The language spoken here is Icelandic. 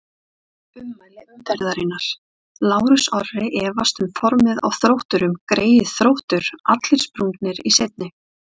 Ummæli umferðarinnar: Lárus Orri efast um formið á Þrótturum Greyið Þróttur, allir sprungnir í seinni.